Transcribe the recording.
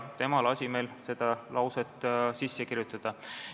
Tema lasi meil selle lause sisse kirjutada.